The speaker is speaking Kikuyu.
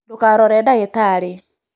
Ndũkarore ndagĩtarĩ